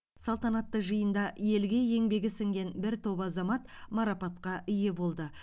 салтанатты жиында елге еңбегі сіңген бір топ азамат марапатқа ие болды